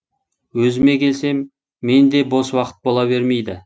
өзіме келсем менде де бос уақыт бола бермейді